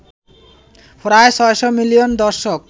প্রায় ৬০০ মিলিয়ন দর্শক